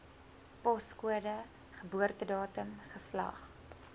poskode geboortedatum geslag